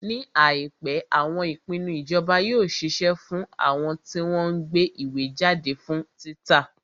Ní àìpé, àwọn ìpinnu ìjọba yóò ṣiṣẹ́ fún àwọn tí wọ́n ń gbé ìwé jáde fún títa.